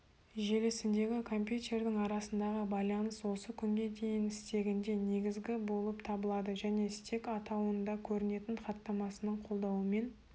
желісіндегі компьютердің арасындағы байланыс осы күнге дейін стегінде негізгі болып табылады және стек атауында көрінетін хаттамасының қолдануымен